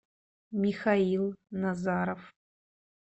михаил назаров